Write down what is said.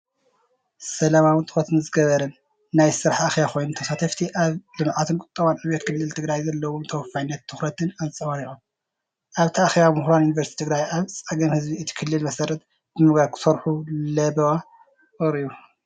ሰላማዊን ትኹረት ዝገበረን ናይ ስራሕ ኣኼባ ኮይኑ ተሳተፍቲ ኣብ ልምዓትን ቁጠባዊ ዕብየትን ክልል ትግራይ ዘለዎም ተወፋይነትን ትኹረትን ኣንጸባሪቖም። ኣብቲ ኣኼባ ምሁራት ዩኒቨርስቲ ትግራይ ኣብ ፀገም ህዝቢ እቲ ክልል መሰረት ብምግባር ክሰርሑ ለበዋ ቀሪቡ።